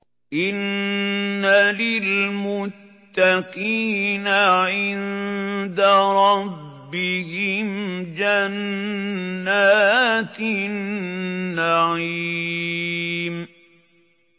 إِنَّ لِلْمُتَّقِينَ عِندَ رَبِّهِمْ جَنَّاتِ النَّعِيمِ